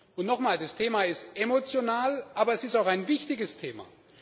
Und nochmal Das Thema ist emotional, aber es ist auch ein wichtiges Thema!